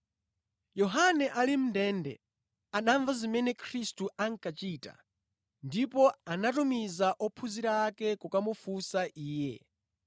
Yohane ali mʼndende anamva zimene Khristu ankachita, ndipo anatumiza ophunzira ake kukamufunsa Iye.